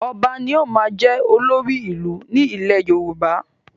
Ọba ni ó máa ń jẹ́ olórí ìlú ní ilẹ̀ Yorùbá